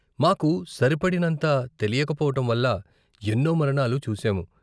మాకు సరిపడినంత తెలియకపోవటం వల్ల ఎన్నో మరణాలు చూసాము.